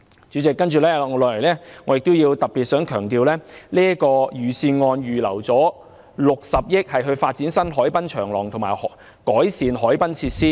主席，接下來我亦想特別強調，預算案預留了60億元發展新海濱長廊及改善海濱設施。